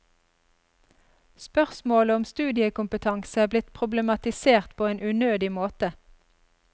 Spørsmålet om studiekompetanse er blitt problematisert på en unødig måte.